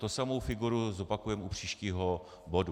Tu samou figuru zopakujeme u příštího bodu.